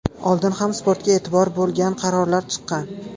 Oldin ham sportga e’tibor bo‘lgan, qarorlar chiqqan.